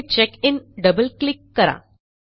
येथे check in double click करा